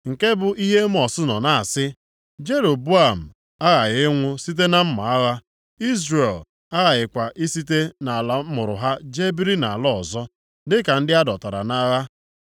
Nke bụ ihe Emọs nọ na-asị, “ ‘Jeroboam aghaghị ịnwụ site na mma agha, Izrel aghakwaghị isite nʼala amụrụ ha jee biri nʼala ọzọ, dịka ndị a dọtara nʼagha.’ ”